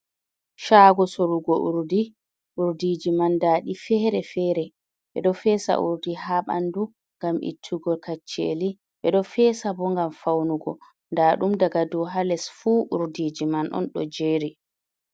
chaago sorugo urdi, urdiji man daɗi fere fere. ɓe do feesa urdi ha ɓandu ngam ittugo kacceli ɓe do feesa bo ngam faunugo da ɗum daga dow ha les fuu urdiji man on do jeeri.